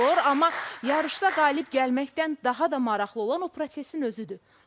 Amma yarışda qalib gəlməkdən daha da maraqlı olan o prosesin özüdür.